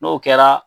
N'o kɛra